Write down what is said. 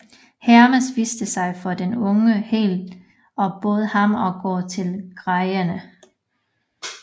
Hermes viste sig for den unge helt og bød ham at gå til Graierne